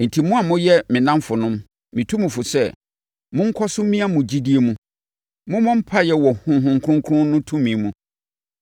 Enti, mo a moyɛ me nnamfonom, metu mo fo sɛ, monkɔ so mmia mo gyidie mu. Mommɔ mpaeɛ wɔ Honhom Kronkron no tumi mu,